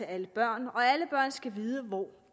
alle børn og alle børn skal vide hvor